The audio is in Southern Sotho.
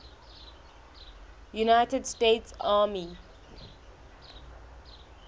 united states army